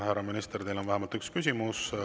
Härra minister, teile on vähemalt üks küsimus.